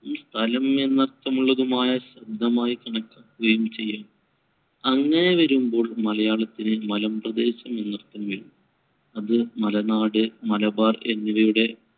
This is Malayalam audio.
ഈ സ്ഥലമെന്ന അർത്ഥമുള്ള ശബ്‌ദം ആയി കണക്കാക്കുകയും ചെയ്യാം. അങ്ങനെ വരുമ്പോൾ മലയാളത്തിന് മലമ്പ്രദേശമെന്ന് അർത്ഥം വരും. അത് മലനാട്, മലബാർ എന്നിവയുടെ